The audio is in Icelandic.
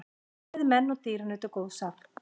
Bæði menn og dýr nutu góðs af.